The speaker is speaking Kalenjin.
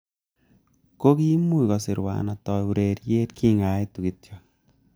Ko kiimuch kosirwa atoi ureriet kingaetu kityo